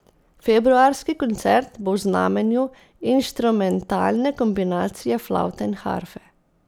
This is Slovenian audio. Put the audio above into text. Februarski koncert bo v znamenju inštrumentalne kombinacije flavte in harfe.